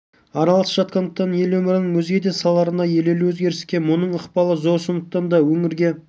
араласып жатқандықтан ел өмірінің өзге де салаларындағы елеулі өзгеріске мұның ықпалы зор сондықтан да өңірге